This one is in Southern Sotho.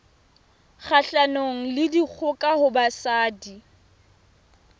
kgahlanong le dikgoka ho basadi